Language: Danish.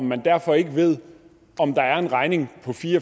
man derfor ikke ved om der er en regning på fire